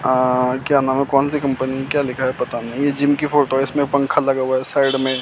अह क्या नाम है कौन सी कंपनी क्या लिखा है पता नहीं ये जिम की फोटो है इसमें पंखा लगा हुआ है साइड में।